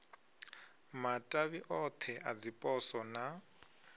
matavhi othe a dziposo na